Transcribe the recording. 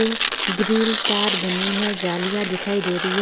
Green तार बनी है झालियाँ दिखाई दे रही है।